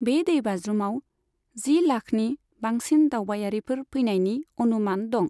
बे दैबाज्रुमआव जि लाखनि बांसिन दावबायारिफोर फैनायनि अनुमान दं।